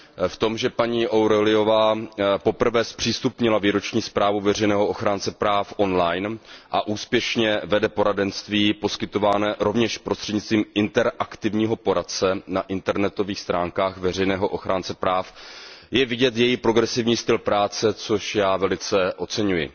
V tom, že paní O'Reillyová poprvé zpřístupnila výroční zprávu veřejného ochránce práv on line a úspěšně vede poradenství poskytované rovněž prostřednictvím interaktivního poradce na internetových stránkách veřejného ochránce práv, je vidět její progresivní styl práce, což já velice oceňuji.